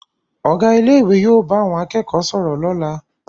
Ọ̀gá ilé ìwé yóò bá àwọn akẹ́kọ̀ọ́ sọ̀rọ̀ lọ́la